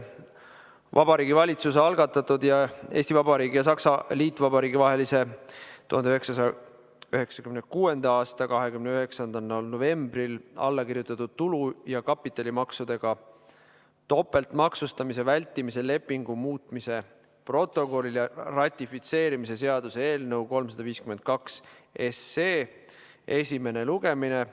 Vabariigi Valitsuse algatatud Eesti Vabariigi ja Saksamaa Liitvabariigi vahelise 1996. aasta 29. novembril allakirjutatud tulu‑ ja kapitalimaksudega topeltmaksustamise vältimise lepingu muutmise protokolli ratifitseerimise seaduse eelnõu 352 esimene lugemine.